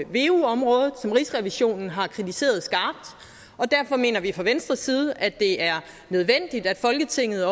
veu området som rigsrevisionen har kritiseret skabt og derfor mener vi fra venstres side at det er nødvendigt at folketinget